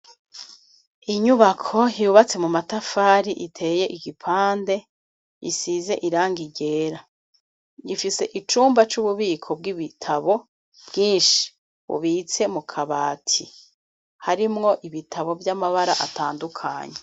Inyubako yubatse mu matafari iteye igipande, isize irangi ryera, ifise icumba c'ububiko bw'ibitabo bwinshi, bubitse mu kabati, harimwo ibitabo by'amabara atandukanye.